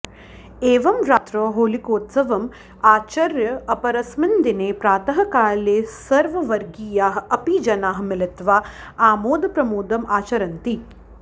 एवं रात्रौ होलिकोत्सवम् आचर्य अपरस्मिन् दिने प्रातःकाले सर्ववर्गीयाः अपि जनाः मिलित्वा आमोदप्रमोदम् आचरन्ति